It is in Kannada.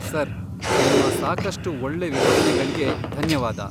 ಸರ್, ನಿಮ್ಮ ಸಾಕಷ್ಟು ಒಳ್ಳೆ ವಿವರಣೆಗಳ್ಗೆ ಧನ್ಯವಾದ.